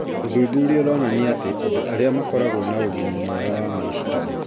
Ũthuthuria ũronania atĩ andũ arĩa makoragwo na ũgima mwega wa meciria